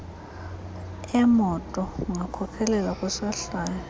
emoto kungakhokhelela kwisohlwayo